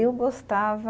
Eu gostava